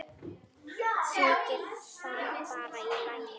Þykir það bara í lagi.